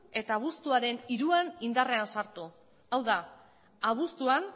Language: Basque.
eta abuztuaren hiruan indarrean sartu hau da abuztuan